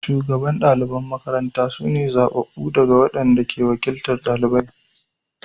Shugaban ɗaliban makarantar su ne zabbabu ɗalibai waɗanda ke wakiltar ɗaliban.